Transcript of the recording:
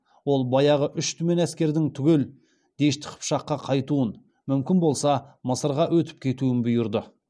ол баяғы үш түмен әскердің түгел дешті қыпшаққа қайтуын мүмкін болмаса мысырға өтіп кетуін бұйырды